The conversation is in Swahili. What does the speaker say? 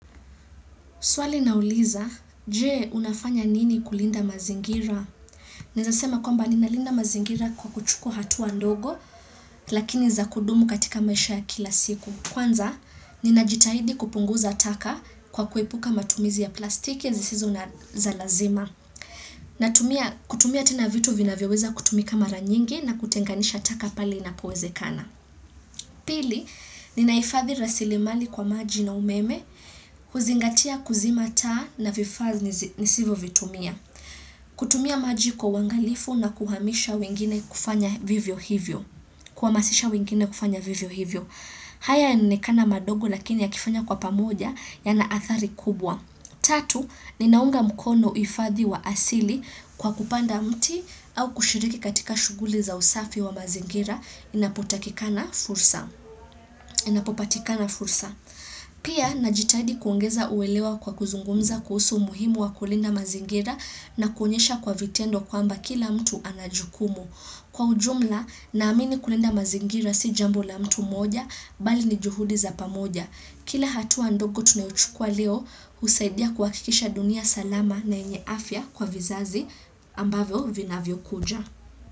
Swali linauliza, je unafanya nini kulinda mazingira? Naeza sema kwamba ninalinda mazingira kwa kuchukua hatua ndogo, lakini za kudumu katika maisha ya kila siku. Kwanza, ninajitahidi kupunguza taka kwa kuelpuka matumizi ya plastiki, zisizo za lazima. Kutumia tena vitu vinavyoweza kutumika mara nyingi na kutenganisha taka pale inapowezekana. Pili, ninahifadhi rasilimali kwa maji na umeme, huzingatia kuzima taa na vifaa nisivyovitumia. Kutumia maji kwa uangalifu na kuhamisha wengine kufanya vivyo hivyo. Kuhamasisha wengine kufanya vivyo hivyo. Haya yanaonekana madogo lakini ya kifanya kwa pamoja yana athari kubwa. Tatu, ninaunga mkono huifadhi wa asili kwa kupanda mti au kushiriki katika shughuli za usafi wa mazingira inapopatikana fursa. Pia, najitaidi kuongeza uwelewa kwa kuzungumza kuhusu muhimu wa kulinda mazingira na kuonyesha kwa vitendo kwamba kila mtu ana jukumu. Kwa ujumla, naamini kulinda mazingira si jambo la mtu mmoja, bali ni juhudi za pamoja. Kila hatua dogo tunayochukua leo, husaidia kuhakikisha dunia salama na yenye afya kwa vizazi ambavyo vinavyokuja.